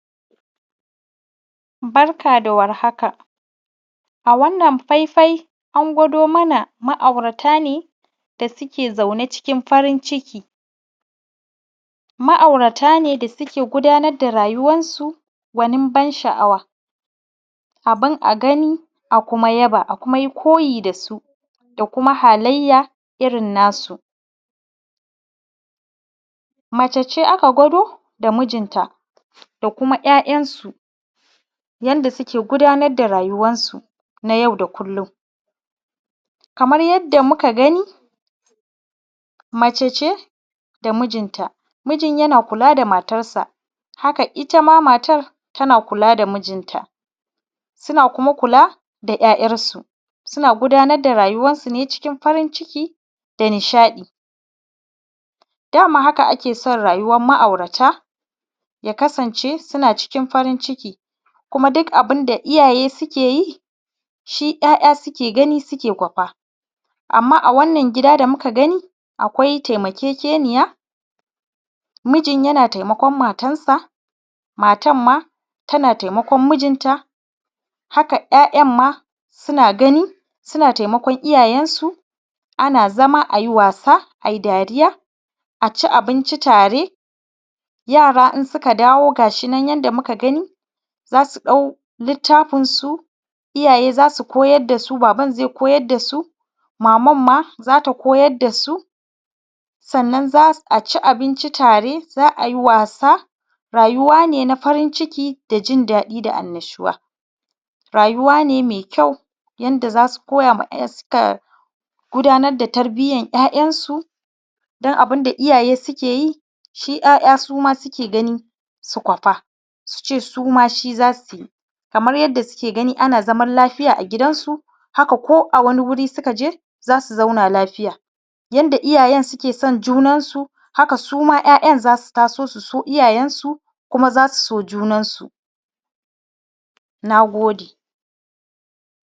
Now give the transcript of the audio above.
Barka da warhaka a wannan faifai an gwado mana ma’aurata ne da suke zaune cikin farin ciki. Ma’aurata ne da suke gudanar da rayuwansu gwanin ban sha’awa, abun a gani a kuma yaba, a kuma koyi da su, da kuma halayya irin na su. Mace ce aka gwado da mijin ta da kuma’ya’yansu yadda suke gudanar da rayuwansu na yau da kullum. Kamar yarda muka gani mace ce da mijinta, mijin yana kula da matarsa haka itama matan tana kula da mijinta, suna kuma kula da ‘yayansu suna gudanar da rayuwan su ne cikin farin ciki da nishaɗi. Daman haka ake son rayuwan ma’aurata ya kasance, suna cikin farin ciki kuma duk abun da iyaye suke yi shi ‘ya’ya suke gani suke kwafa. Amma a wannan gida da muka gani akwai taimakekeniya. Mijin yana taimakon matarsa, matar ma tana taimakon mijinta, haka ‘ya’yan ma suna gani suna taimakon iyayen su. Ana zama a yi wasa ayi dariya a ci abinci tare, yara in suka dawo ga shi nan yadda muka gani, za su ɗau littafin su, iyaye za su koyar da su, baban zai koyar da su, maman ma za ta koyar da su, sannan a su ci abinci tare, za ai wasa. Rayuwa ne na farin ciki da jindaɗi da annashuwa. Rayuwa ne mai kyau, yanda za su koya wa ‘ya’yansu gudanar da tarbiyan ‘ya’yansu don abun da iyaye suke yi shi ‘ya’ya suma suke gani su kwafa, su ce suma shi za su yi kamar yarda suke gani ana zaman lafiya a gidansu haka, ko a wani guri suka je za su zauna lafiya. Yadda iyayen suke son junan su haka suma ‘ya’yan za su taso su so iyayen su, kuma za su so junan su nagode.